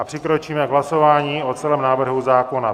A přikročíme k hlasování o celém návrhu zákona.